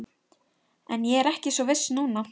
En ég er ekki svo viss núna